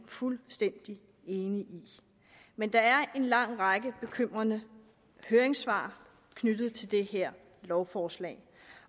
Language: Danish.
fuldstændig enige i men der er en lang række bekymrende høringssvar knyttet til det her lovforslag